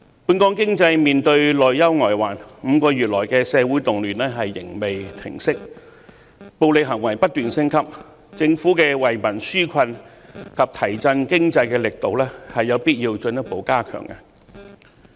本港經濟面對內憂外患 ，5 個月來的社會動亂仍未平息，暴力行為不斷升級，政府的惠民紓困及提振經濟的措施有必要進一步加強。